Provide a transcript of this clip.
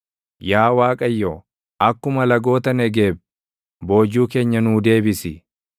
Yaa Waaqayyo, akkuma lagoota Negeeb, boojuu keenya nuu deebisi.